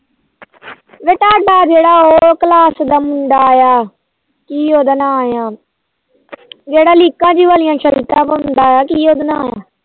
ਮੁੰਡਾ ਜਿਹੜਾ class ਦਾ ਮੁੰਡਾ ਆਇਆ ਕੀ ਉਹਦਾ ਨਾਅ ਜਿਹੜਾ ਲੀਕਾ ਜੀਆ ਵਾਲੀ shirt ਪਾਉਂਦਾ ਕੀ ਉਹਦਾ ਨਾਅ ਕੀ ਉਹਦਾ ਨਾਅ